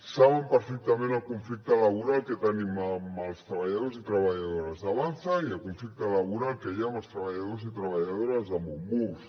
saben perfectament el conflicte laboral que tenim amb els treballadors i treballadores d’avanza i el conflicte laboral que hi ha amb els treballadors i treballadores de monbus